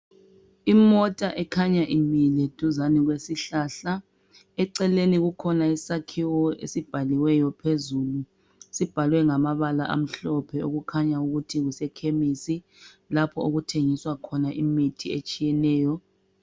Imota ekhanya imile dizane lesihlahla eceleni kukhona isakhiwo esibhaliweyo phezulu sibhalwe ngamabala amhlophe okukhanya ukuthi kuseKhemestri okuthengiswa khona imithi ehlukeneyo.